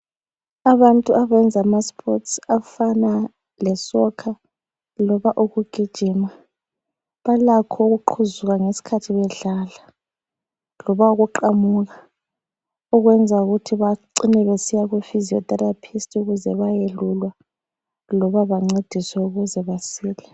Abantu abayenza spotsi afana lesokha loba ukugijima balakho ukuqhuzuka ngesikhathi bedlala loba ukuqamuka ukwenza ukuthi becine besiya kufiziyotherapist ukuze bayelulwa loba bancediswe ukuze besile.